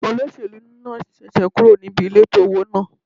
Olóṣèlú náà ṣẹ̀ṣẹ̀ kúrò níbi ilé tó wó náà.